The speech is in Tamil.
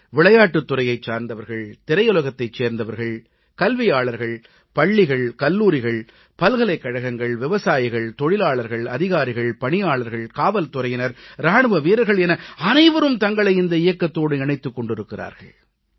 விளையாட்டுத் துறை சார்ந்தவர்கள் திரையுலகத்தைச் சேர்ந்தவர்கள் கல்வியாளர்கள் பள்ளிகள் கல்லூரிகள் பல்கலைக்கழகங்கள் விவசாயிகள் தொழிலாளர்கள் அதிகாரிகள் பணியாளர்கள் காவல்துறையினர் இராணுவ வீரர்கள் என அனைவரும் தங்களை இந்த இயக்கத்தோடு இணைத்துக் கொண்டிருக்கிறார்கள்